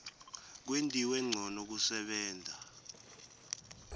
kwentiwe ncono kusebenta